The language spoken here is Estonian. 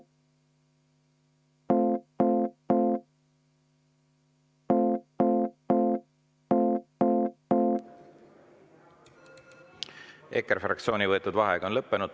EKRE fraktsiooni võetud vaheaeg on lõppenud.